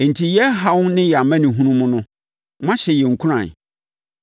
Enti, yɛn haw ne yɛn amanehunu no mu no, moahyɛ yɛn nkuran,